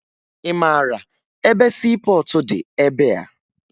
Ị mara ebe siipọọtụ dị ebea?